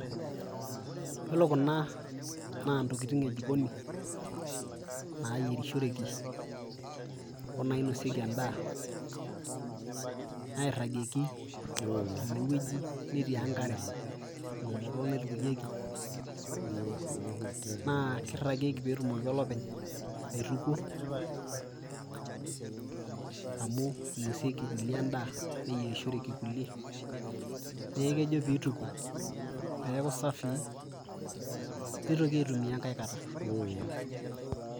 Yiolo kuna naa ntokitin e jikoni nayerishoreki o nainosieki endaa nairagieki tene wueji netii enkare, eng'umoto naitukunyeki naa kiragieki pee etumoki olopeny aitukuo amu inosieki kulie endaa neyerishoreki kulie nee kejo piituku peeku safi piitoki aitumia enkae kata.